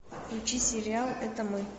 включи сериал это мы